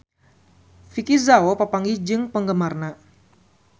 Vicki Zao papanggih jeung penggemarna